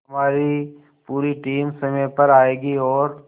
हमारी पूरी टीम समय पर आएगी और